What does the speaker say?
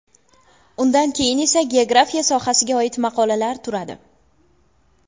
Undan keyin esa geografiya sohasiga oida maqolalar turadi.